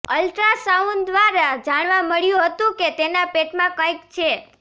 ultrasound દ્વારા જાણવા મળ્યું હતું કે તેના પેટમાં કંઈક છે